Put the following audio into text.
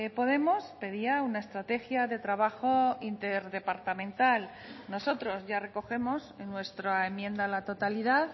podemos pedía una estrategia de trabajo interdepartamental nosotros ya recogemos en nuestra enmienda a la totalidad